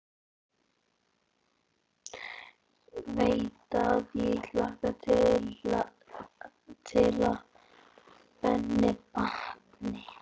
Veit að ég hlakka til að henni batni.